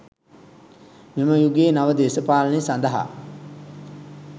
මෙම යුගයේ නව දේශපාලනය සඳහා